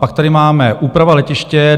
Pak tady máme: úprava letiště.